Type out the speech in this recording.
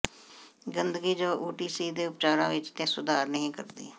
ਗੰਦਗੀ ਜੋ ਓਟੀਸੀ ਦੇ ਉਪਚਾਰਾਂ ਵਿਚ ਸੁਧਾਰ ਨਹੀਂ ਕਰਦੀ